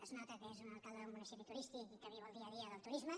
es nota que és un alcalde d’un munici·pi turístic i que viu el dia a dia del turisme